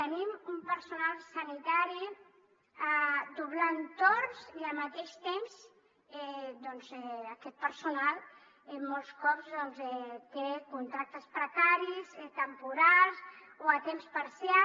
tenim un personal sanitari doblant torns i al mateix temps aquest personal molts cops doncs té contractes precaris temporals o a temps parcial